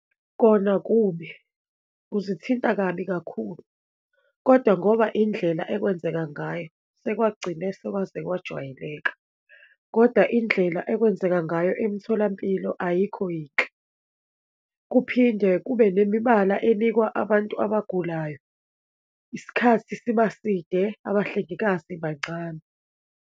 Kona kubi, kuzithinta kabi kakhulu, kodwa ngoba indlela ekwenzeka ngayo, sekwagcine sekwaze kwajwayeleka, kodwa indlela ekwenzeka ngayo emtholampilo ayikho yinhle. Kuphinde kube nemibala enikwa abantu abagulayo, isikhathi siba side, abahlengikazi bancane.